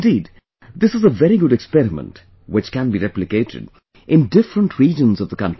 Indeed, this is a very good experiment which can be replicated in different regions of the country